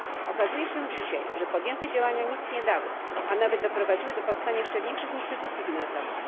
Okazuje się dzisiaj, że podjęte działania nic nie dały, a nawet doprowadziły do powstania jeszcze większych instytucji finansowych.